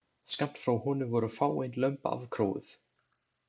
Skammt frá honum voru fáein lömb afkróuð.